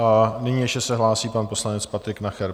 A nyní se ještě hlásí pan poslanec Patrik Nacher.